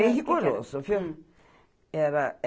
Bem rigoroso viu. Era, era